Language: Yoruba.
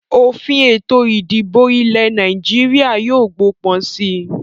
Òfin Ètò ìdìbò ilẹ̀ Nàìjíríà yìí ó gbó pọ̀n síí